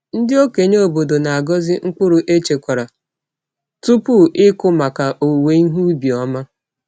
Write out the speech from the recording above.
Ndị okenye obodo na-agọzi mkpụrụ echekwara tupu ịkụ maka owuwe ihe ubi ọma.